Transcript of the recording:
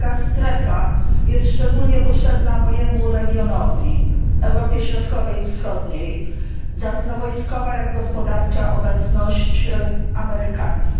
Taka strefa jest szczególnie potrzebna mojemu regionowi Europie Środkowej i Wschodniej zarówno wojskowa, jak gospodarcza obecność amerykańska.